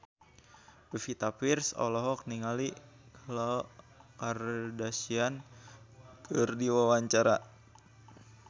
Pevita Pearce olohok ningali Khloe Kardashian keur diwawancara